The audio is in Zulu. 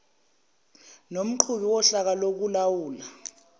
nomqhubi wohlaka lokulawula